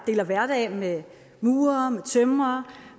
deler hverdag med murere med tømrere